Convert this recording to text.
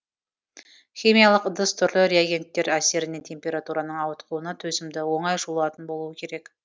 химиялық ыдыс түрлі реагенттер әсеріне температураның ауытқуына төзімді оңай жуылатын болуы керек